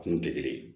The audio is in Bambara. Kun tɛ kelen ye